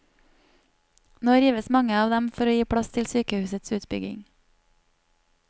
Nå rives mange av dem for å gi plass til sykehusets utbygging.